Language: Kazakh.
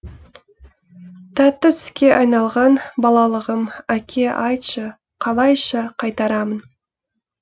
тәтті түске айналған балалығым әке айтшы қалайша қайтарамын